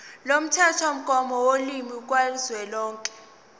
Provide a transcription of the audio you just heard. lomthethomgomo wolimi kazwelonke